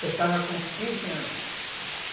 Eu estava com quinze anos.